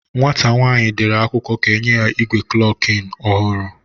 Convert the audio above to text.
Nwata nwanyi dere ka enye ya igwe klokin ohuru